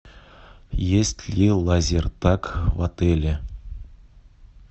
есть ли лазертаг в отеле